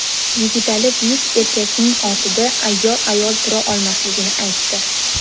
Yigitali buyuk erkakning ortida ayyor ayol tura olmasligini aytdi.